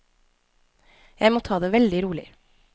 Jeg må ta det veldig rolig.